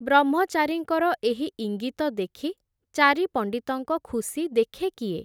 ବ୍ରହ୍ମଚାରୀଙ୍କର ଏହି ଇଙ୍ଗିତ ଦେଖି, ଚାରି ପଣ୍ଡିତଙ୍କ ଖୁସି ଦେଖେ କିଏ ।